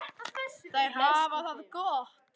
Þær hafa það gott.